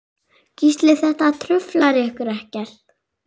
Gísli: Þetta truflar ykkur ekkert?